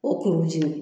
O kuruji